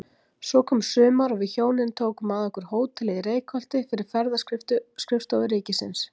Svo kom sumar og við hjónin tókum að okkur hótelið í Reykholti fyrir Ferðaskrifstofu ríkisins.